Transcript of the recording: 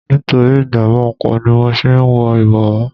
Nítorí ìjàmbá oko ni mo ṣe ń wọ ibowo.